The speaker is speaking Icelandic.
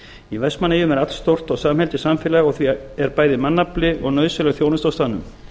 í vestmannaeyjum er allstórt og samheldið samfélag og því er bæði mannafli og nauðsynleg þjónusta á staðnum